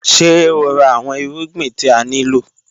Ṣe o ra awọn irugbin ti a nilo?